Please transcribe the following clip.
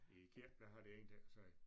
I æ kirke der har de ingenting at sige